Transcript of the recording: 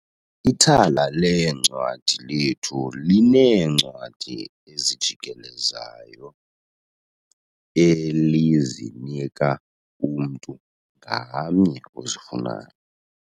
Ithala leencwadi lethu lineencwadi ezijikelezayo elizinika umntu ngamnye ozifunayo.